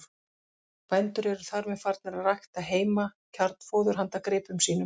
Bændur eru þar með farnir að rækta heima kjarnfóður handa gripum sínum.